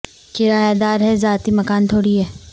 کرایہ دار ہیں ذاتی مکان تھوڑی ہے